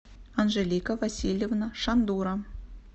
анжелика васильевна шандура